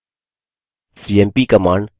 cmp command